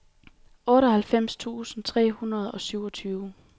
otteoghalvfems tusind tre hundrede og syvogtyve